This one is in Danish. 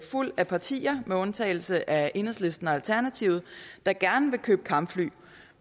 fuld af partier med undtagelse af enhedslisten og alternativet gerne vil købe kampfly